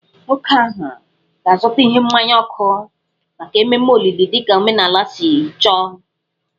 Nwoke ahụ ga-azụta ihe mmaya ọkụ maka ememe olili dị ka omenala si chọọ